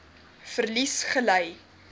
verlies gely